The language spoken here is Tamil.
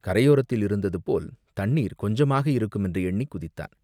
கரையோரத்தில் இருந்ததுபோல் தண்ணீர் கொஞ்சமாக இருக்குமென்று எண்ணிக் குதித்தான்.